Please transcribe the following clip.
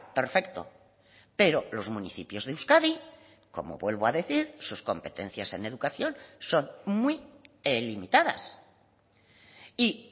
perfecto pero los municipios de euskadi como vuelvo a decir sus competencias en educación son muy limitadas y